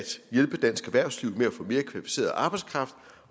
hjælpe dansk erhvervsliv med at få mere kvalificeret arbejdskraft